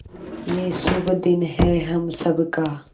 ये शुभ दिन है हम सब का